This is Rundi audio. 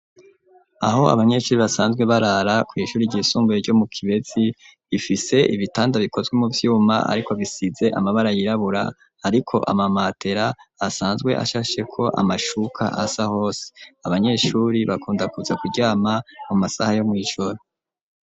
Aho abanyeshuri basanzwe barara kw'ishuri ryisunguye ryo mu Kibezi bifise ibitanda bikozwe mu vyuma ariko bisize amabara yirabura hariko amamatera asanzwe ashasheko amashuka asa hose abanyeshuri bakunda kuza kuryama mu masaha yo mw'ijoro